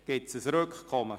Gibt es ein Rückkommen?